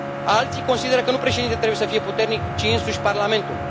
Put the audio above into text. Alții consideră că nu președintele trebuie să fie puternic, ci însuși Parlamentul.